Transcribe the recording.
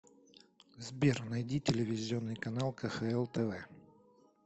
сбер найди телевизионный канал кхл тв